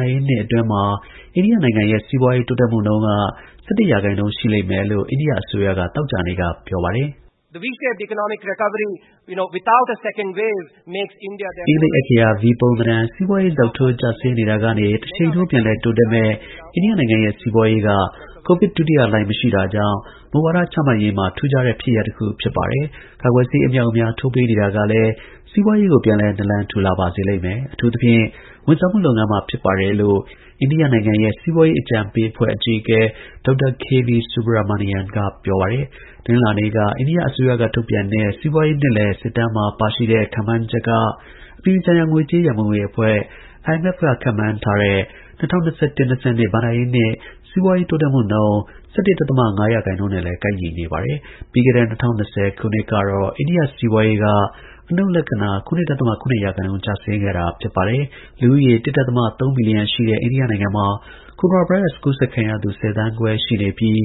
ဍာရေးနှစ် အတွင်း အိန္ဒိယနိုင်ငံရဲ့ စီးပွားရေး တိုးတက်မှုနှုန်းက ၁၁ ရာခိုင်နှုန်း ရှိလိမ့်မယ်လို့ အိန္ဒိယ အစိုးရက သောကြာနေ့က ပြော ပါတယ်။ အင်္ဂလိပ်အက္ခရာ V ပုံသဏ္ဍာန် စီးပွားရေး ဇောက်ထိုး ကျဆင်းတာကနေ တရှိန်ထိုး ပြန်လည်တိုးတက်မယ့် အိန္ဒိယနိုင်ငံရဲ့ စီးပွားရေးက ကိုဗစ် ဒုတိယလှိုင်း မရှိတာကြောင့် မူဝါဒ ချမှတ်ရေးမှာ ထူးခြားတဲ့ ဖြစ်ရပ်တစ်ခု ဖြစ်ပါတယ်။ ကာကွယ်ဆေး အမြောက်အမြား ထိုးပေးနေတာကလည်း စီးပွားရေးကို ပြန်လည် နာလံထူလာပါစေလိမ့်မယ်။ အထူးသဖြင့် ဝန်ဆောင်မှု လုပ်ငန်းမှာ ဖြစ်ပါ တယ်လို့ အိန္ဒိယနိုင်ငံရဲ့ စီးပွားရေး အကြံပေးအဖွဲ့ အကြီးအကဲ DR K.V. SUBRAMANIAN က ပြောပါတယ်။ တနင်္လာနေ့က အိန္ဒိယ အစိုးရက ထုတ်ပြန်တဲ့ စီးပွားရေး နှစ်လည် စစ်တမ်းမှာ ပါရှိတဲ့ ခန့်မှန်းချက်က အပြည်ပြည်ဆိုင်ရာ ငွေကြေး ရန်ပုံငွေအဖွဲ့ IMF က ခန့်မှန်းထားတဲ့ ၂၀၂၁-၂၀၂၂ ဘဏ္ဍာရေးနှစ် စီးပွားရေး တိုးတက်မှုနှုန်း ၁၁ ဒဿမ ၅ ရာခိုင်နှုန်းနဲ့လည်း ကိုက်ညီနေပါတယ်။ ပြီးခဲ့တဲ့ ၂၀၂၀ ခုနှစ်ကတော့ အိန္ဒိယ စီးပွားရေး အနုတ် ၇ ဒဿမ ၇ ရာခိုင်နှုန်း ကျဆင်းခဲ့တာပါ။ လူဦးရေ ၁ ဒဿမ ၃ ဘီလီယံရှိတဲ့ အိန္ဒိယနိုင်ငံမှာ ကိုရိုနာဗိုင်းရပ်စ် ကူးစက်ခံရသူ ၁၀ သန်းခွဲ ရှိပြီး